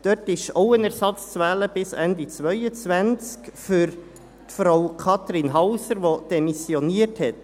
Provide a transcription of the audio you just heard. Auch dort ist ein Ersatz zu wählen bis Ende 2022, für Frau Kathrin Hauser, die demissioniert hat.